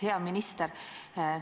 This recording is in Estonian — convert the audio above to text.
Hea minister!